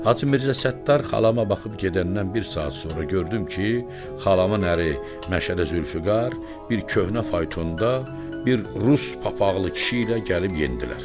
Hacı Mirzə Səttar xalama baxıb gedəndən bir saat sonra gördüm ki, xalamın əri Məşədi Zülfiqar bir köhnə faytonda bir rus papaqlı kişi ilə gəlib yendilər.